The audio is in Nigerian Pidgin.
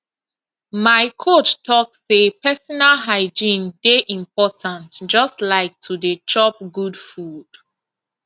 my coach talk say personal hygiene dey important just like to dey chop good food